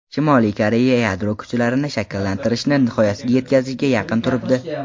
Shimoliy Koreya yadro kuchlarini shakllantirishni nihoyasiga yetkazishga yaqin turibdi.